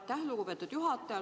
Aitäh, lugupeetud juhataja!